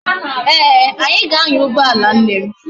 Ee, anyi ga anya ugboala nne m